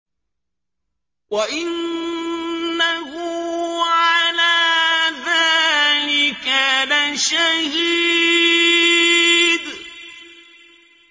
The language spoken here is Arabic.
وَإِنَّهُ عَلَىٰ ذَٰلِكَ لَشَهِيدٌ